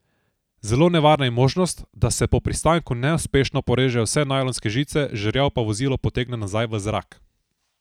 Zelo nevarna je možnost, da se po pristanku neuspešno porežejo vse najlonske žice, žerjav pa vozilo potegne nazaj v zrak.